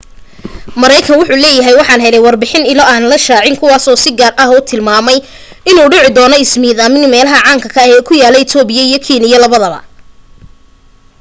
mareekan wuxuu leeyahay waxaan helay warbixin ilo aan la shaacin kuwaas oo si gaar u tilmaamay inuu dhici doona ismidaamin meelaha caan ka ah ku yaala ethopia iyo kenya labada